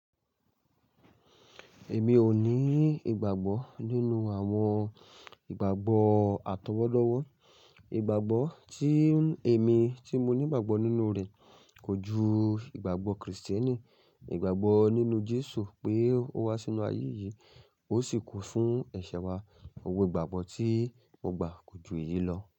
Èmi ò ní ìgbàgbọ́ nínú àwọn ìgbàgbọ́ àtọwọ́dọ́wọ́. Ìgbàgbọ́ tí èmi tí mo ní'gbàgbọ́ nínú rẹ̀ kọ̀ ju ìgbàgbọ́ Krìstíẹ́nì, ìgbàgbọ́ nínú Jésù pé ó wá sínú ayé yìí ó sì kú fún ẹ̀ṣẹ̀ wa. Gbogbo ìgbàgbọ́ tí mo gbà kọ̀ ju èyí lọ.